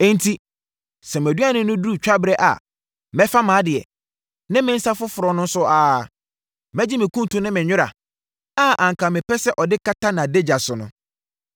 “Enti, sɛ mʼaduane no duru twaberɛ a mɛfa mʼadeɛ, ne me nsã foforɔ no nso saa ara. Mɛgye me kuntu ne me nwera, a anka mepɛ sɛ ɔde kata nʼadagya so no.